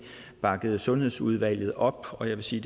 bakkede sundhedsudvalget op og jeg vil sige